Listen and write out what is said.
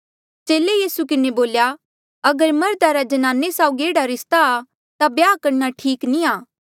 चेले यीसू किन्हें बोल्या अगर मर्धा रा ज्नाने साउगी एह्ड़ा रिस्ता आ ता ब्याह करणा ठीक नी आ